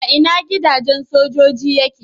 A ina gidajen sojoji yake?